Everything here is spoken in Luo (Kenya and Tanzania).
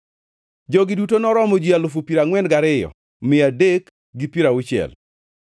Jogi duto noromo ji alufu piero angʼwen gariyo mia adek gi piero auchiel (42,360),